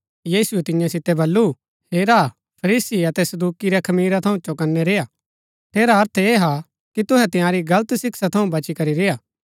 यीशुऐ तियां सितै बल्लू हेरा फरीसी अतै सदूकि रै खमीरा थऊँ चौकनै रेय्आ ठेरा अर्थ ऐह हा कि तुहै तंयारी गलत शिक्षा थऊँ बची करी रेय्आ